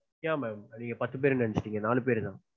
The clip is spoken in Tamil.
yeah ma'am நீங்க பத்து பேர்னு நெனைச்சிட்டீங்க. நாலு பேர்தா.